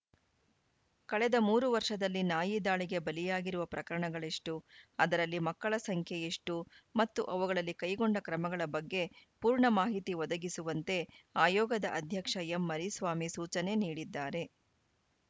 ಕಳೆದ ಮೂರು ವರ್ಷದಲ್ಲಿ ನಾಯಿ ದಾಳಿಗೆ ಬಲಿಯಾಗಿರುವ ಪ್ರಕರಣಗಳೆಷ್ಟು ಅದರಲ್ಲಿ ಮಕ್ಕಳ ಸಂಖ್ಯೆ ಎಷ್ಟುಮತ್ತು ಅವುಗಳಲ್ಲಿ ಕೈಗೊಂಡ ಕ್ರಮಗಳ ಬಗ್ಗೆ ಪೂರ್ಣ ಮಾಹಿತಿ ಒದಗಿಸುವಂತೆ ಆಯೋಗದ ಅಧ್ಯಕ್ಷ ಎಂಮರಿಸ್ವಾಮಿ ಸೂಚನೆ ನೀಡಿದ್ದಾರೆ